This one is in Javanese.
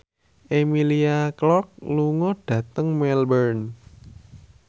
Emilia Clarke lunga dhateng Melbourne